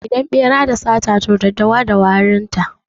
Idan ɓera da sata, to daddawa ma da wari.